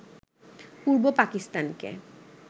পূর্ব পাকিস্তানকে